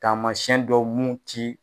Taamasɛn dɔw mun ti